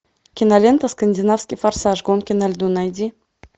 кинолента скандинавский форсаж гонки на льду найди